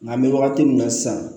Nka an bɛ wagati min na sisan